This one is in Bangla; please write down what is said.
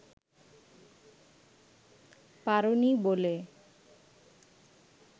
পারোনি বলে